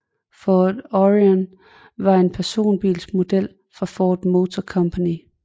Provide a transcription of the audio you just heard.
Ford Orion var en personbilsmodel fra Ford Motor Company